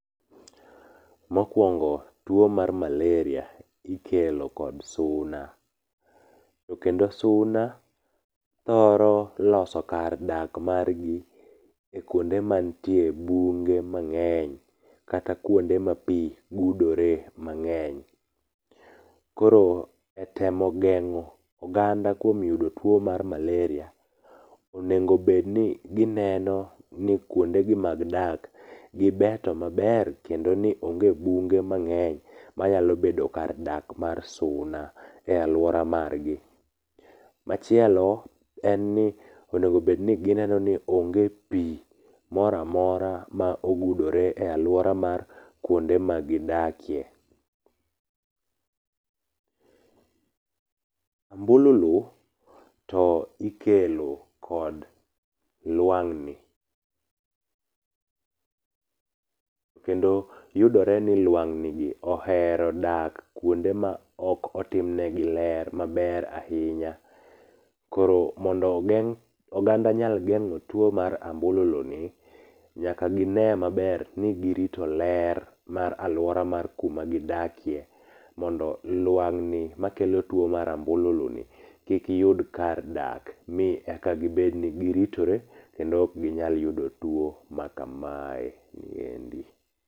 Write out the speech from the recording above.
Mokuongo tuo mar maleria ikelo kod suna, to kendo suna thoro loso kar dak margi kuonde mantie bunge mang'eny kata kuonde ma pi gudore mang'eny. Koro etemo geng'o oganda kuom yudo tuo mar maleria, onego bed ni gineno ni kuondegi mag dak gibeto maler kendo ni onge bunge mang'eny manyalo bedo kar dak mar suna e aluora margi. Machielo en ni onego bedni n´gineno ni onge pi moro amora a mogudore e aluora mar kuonde ma gidakie. ambululu to ikelo kod lwang'ni kendo yudore ni lwang'ni gi ohero dak kuonde ma ok otim negi ler maber ahinya. Koro mondo ogeng' oganda nyal geng'o tuo mar ambululuni, nyaka gine maber ni girito ler mar aluora ma gidakie mondo luwang'ni makelo tuo mar ambululuni kik yud kar dak mi eka gibed ni giritore kendo ok ginyal yudo tuo makamaeni endi.